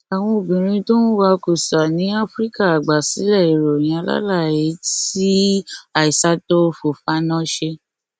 àwọn obìnrin tó ń wa kùsà ní áfíríkà àgbàsílẹ ìròyìn alálàyé tí aissatou fòfana ṣe